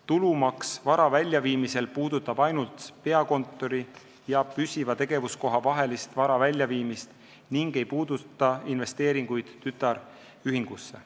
Tulumaks vara väljaviimisel puudutab ainult peakontori ja püsiva tegevuskoha vahelist vara väljaviimist ega puuduta investeeringuid tütarühingusse.